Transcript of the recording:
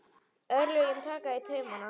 Örlögin taka í taumana